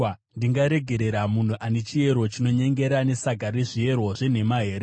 Ndingaregerera munhu ane chiero chinonyengera nesaga rezviero zvenhema here?